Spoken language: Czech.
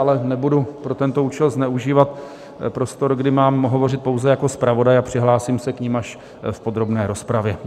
Ale nebudu pro tento účel zneužívat prostor, kdy mám hovořit pouze jako zpravodaj, a přihlásím se k nim až v podrobné rozpravě.